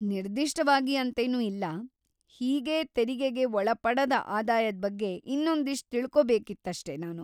ನಿರ್ದಿಷ್ಟವಾಗಿ ಅಂತೇನೂ ಇಲ್ಲ, ಹೀಗೇ ತೆರಿಗೆಗೆ ಒಳಪಡದ ಆದಾಯದ್ ಬಗ್ಗೆ ಇನ್ನೊಂದಷ್ಟ್ ತಿಳ್ಕೋಬೇಕಿತ್ತಷ್ಟೇ ನಾನು.